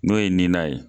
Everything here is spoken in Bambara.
N'o ye nina ye